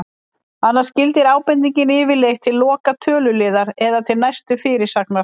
Annars gildir ábendingin yfirleitt til loka töluliðar eða til næstu fyrirsagnar.